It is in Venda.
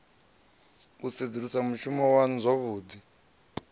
u sedzulusa mushumo waṋu zwavhuḓi